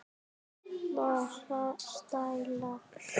Enga stæla!